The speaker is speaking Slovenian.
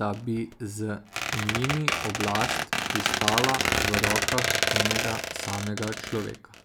da bi z njimi oblast pristala v rokah enega samega človeka.